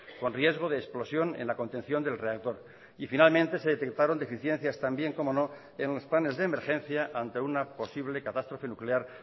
con riesgo de explosión en la contención del reactor y finalmente se detectaron deficiencias también cómo no en los planes de emergencia ante una posible catástrofe nuclear